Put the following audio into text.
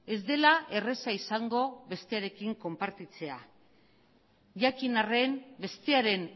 ez dela erraza izango bestearekin konpartitzea jakin arren bestearen